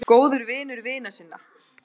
Góður vinur vina sinna.